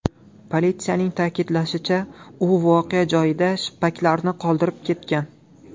Politsiyaning ta’kidlashicha, u voqea joyida shippaklarini qoldirib ketgan.